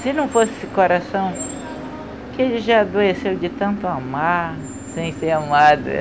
Se não fosse o coração, que ele já adoeceu de tanto amar sem ser amada.